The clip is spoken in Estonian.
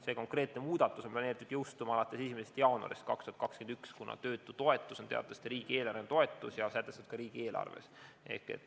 See konkreetne muudatus on planeeritud jõustuma alates 1. jaanuarist 2021, kuna töötutoetus on teatavasti riigieelarveline toetus ja sätestatud ka riigieelarves.